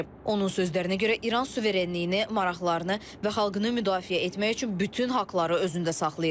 Onun sözlərinə görə, İran suverenliyini, maraqlarını və xalqını müdafiə etmək üçün bütün haqları özündə saxlayır.